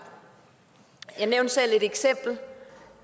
jeg nævnte selv